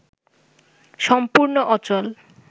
সম্পূর্ণ অচল